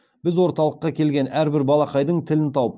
біз орталыққа келген әрбір балақайдың тілін тауып